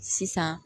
Sisan